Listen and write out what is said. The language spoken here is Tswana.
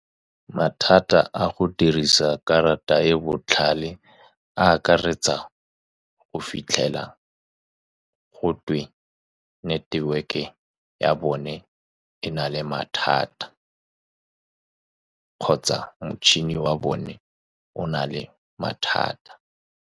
Mathata a go dirisa karata e e botlhale a akaretsa go fitlhela gotwe network-e ya bone e na le mathata, kgotsa motšhini wa bone o na le mathata.